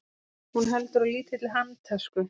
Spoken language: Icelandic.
Hún heldur á lítilli handtösku.